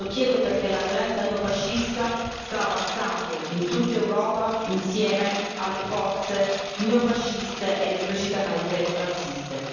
Lo chiedo perché la violenza neofascista sta avanzando in tutta Europa, insieme alle forze neofasciste ed esplicitamente razziste.